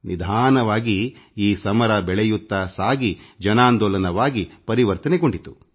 ನಿಧಾನವಾಗಿ ಈ ಹೋರಾಟ ಬೆಳೆಯುತ್ತಾ ಸಾಗಿ ಜನಾಂದೋಲನವಾಗಿ ಪರಿವರ್ತನೆಗೊಂಡಿತು